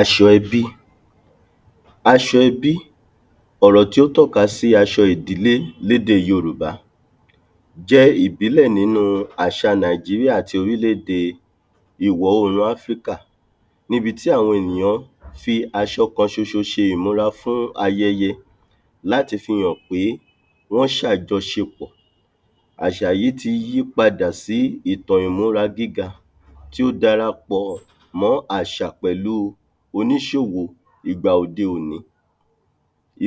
aṣọ ẹbí, aṣọ ẹbí ọ̀rọ̀ tí ó tọ́ka sí aṣọ ìdílé lédè yorùbá jẹ́ ìbílẹ̀ nínú àṣà nàìjiríà àti orílẹ̀de ìwọ̀ oòrùn áfríkà níbi tí àwọn ènìyàn fi asọ kan ṣoṣo ṣe ìmúra fún ayẹyẹ láti fi hàn pé wọ́n ṣàjọṣepọ̀. àṣà yí ti yí padà sí ìtàn ìmúra gíga tí ó darapọ̀ mọ́ àṣà pẹ̀lú oníṣòwò ìgbà òde òní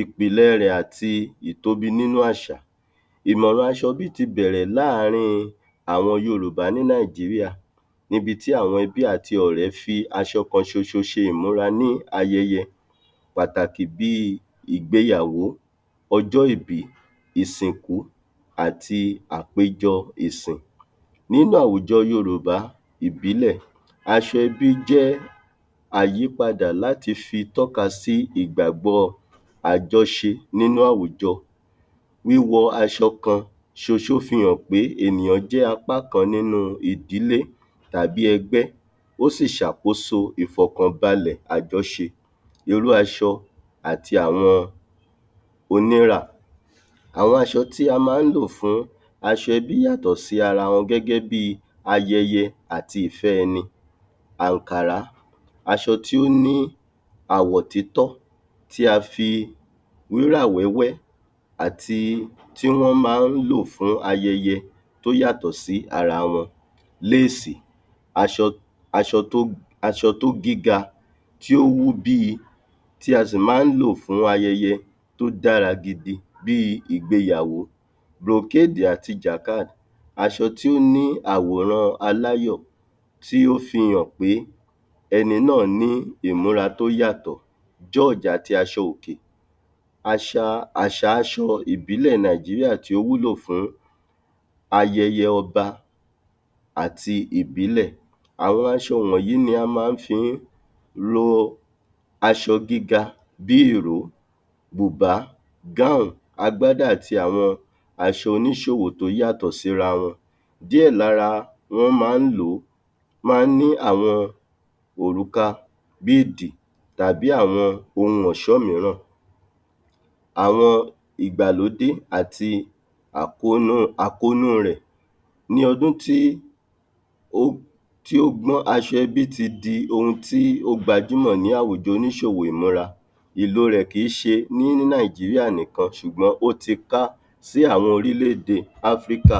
ìpìlẹ̀ rẹ̀ àti ìtóbi nínú àṣà, ìmọ̀ràn àṣà ẹbí ti bẹ̀rẹ̀ láàrin àwọn yorùbá ní nàìjíríà níbi tí àwọn ẹbí àti ọ̀rẹ́ fi aṣọ kan ṣoṣo ṣe ìmúra ní ayẹyẹ pàtàkì bíi ìgéyàwó, ọjọ́-ìbí, ìsìnkú, àti àpéjọ ìsìn nínú àwùjọ yorùbá ìbílẹ̀, aṣọ ẹbí jẹ́ àyípadà láti fi tọ́ka sí ìgbàgbọ́ọ àjọṣe nínú àwùjọ, wíwọ aṣọ kan ṣoṣo fihàn pé ènìyàn jẹ́ apá kan nínú ìdílé tàbí ẹgbẹ́, ó sì ṣàkóso ìfọ̀kànbalẹ̀ àjọṣe irú aṣọ àti àwọn onírà, àwọn aṣọ tí a ma ń lò fún aṣọ ẹbí yàtọ̀ sí ara wọn gẹ́gẹ́bíi ayẹyẹ àti ìfẹ́ ẹni àǹkàrá, aṣọ tí ó ní àwọ̀ títọ́ tí a fi wúrà wẹ́wẹ́ àti tí wọ́n máa ń lò fún ayẹyẹ tó yàtọ̀ sí ara wọn, léèsì, aṣọ aṣọ tó aṣọ tó gíga tí ó wú bíi, tí a si máa ń lò fún ayẹyẹ tó dára gidi bíi ìgbéyàwo àti aṣọ tí ó ní àwòrán-an aláyọ̀ tí ó fihàn pé ẹni náà ní ìmúra tó yàtọ̀ àti aṣọ òkè, àṣàa àṣà aṣọ ìbílẹ̀ nàìjíríà tí ó wúlò fún ayẹyẹ ọba àti ìbílẹ̀, àwọn aṣọ wọ̀nyí ni a máa fi ń lo aṣọ gíga bíi ìró, bùbá, agbádá àti àwọn aṣọ oníṣòwò tó yàtọ̀ síra wọn díẹ̀ lára wọn ma ń lòó, máa ń ní àwọn òrùka tàbí àwọn ohun ọ̀ṣọ́ míràn àwọn ìgbàlódé àti àkónú àkónú rẹ̀ ní ọdún tí ó tí ó gbọ́n aṣọ ẹbí tí di ohun tí ó gbajúmọ̀ ní àwùjọ oníṣòwò ìmúra ìló rẹ̀ kìí ṣe ní nàìjíríà nì kan ṣùgbọ́n ó ti ká sí àwọn orílẹ̀de áfríkà